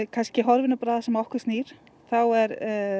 kannski horfi nú bara á það sem að okkur snýr þá er